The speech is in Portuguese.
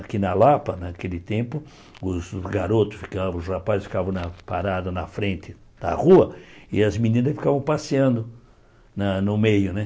Aqui na Lapa, naquele tempo, os garotos ficavam, os rapazes ficavam na parados na frente da rua e as meninas ficavam passeando na no meio, né?